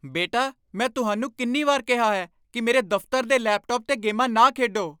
ਬੇਟਾ, ਮੈਂ ਤੁਹਾਨੂੰ ਕਿੰਨੀ ਵਾਰ ਕਿਹਾ ਹੈ ਕਿ ਮੇਰੇ ਦਫ਼ਤਰ ਦੇ ਲੈਪਟਾਪ 'ਤੇ ਗੇਮਾਂ ਨਾ ਖੇਡੋ?